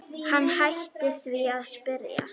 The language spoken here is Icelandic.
Hann hætti því að spyrja.